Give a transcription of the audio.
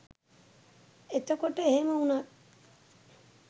එතකොට එහෙම උනත්